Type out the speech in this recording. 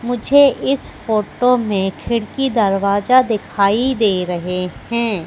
मुझे इस फोटो में खिड़की दरवाजा दिखाई दे रहे हैं।